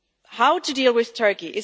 How to deal with Turkey?